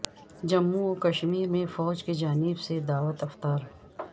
جموں و کشمیرمیں فوج کی جانب سے دعوت افطار